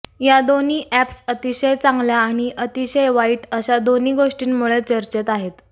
या दोन्ही ऍप्स अतिशय चांगल्या आणि अतिशय वाईट अशा दोन्ही गोष्टींमुळे चर्चेत आहेत